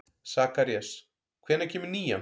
Sakarías, hvenær kemur nían?